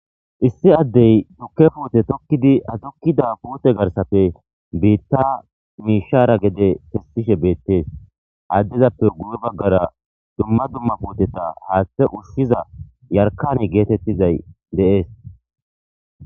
issi addey tukke puute tokkidi adukkida puute garsafe biitta miishara gede fessishe beettees addezappe gure baggara dumma dumma puoteta haaththe ushshiza yarkani geetettizay deees